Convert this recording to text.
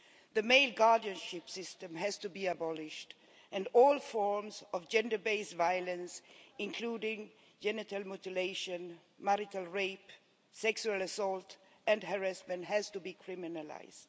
The male guardianship system has to be abolished and all forms of gender based violence, including genital mutilation, marital rape, sexual assault and harassment, has to be criminalised.